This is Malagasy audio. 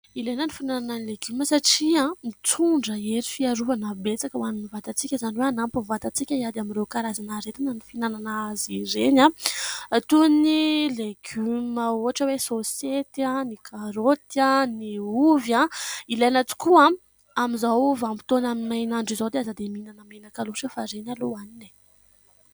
Ilaina ny finanana ny legioma satria mitondra hery fiarovana betsaka ho an'ny vantantsika ; izany hoe hanampy ny vatantsika hiady amin'ireo karazana aretina ny finanana azy ireny, toy ny legioma ohatra hoe : ny soseta, ny karaoty, ny ovy. Ilaina tokoa amin'izao vanim-potoana main'andro izao dia ; aza dia mihinana menaka loatra fa ireny aloha hohanina e.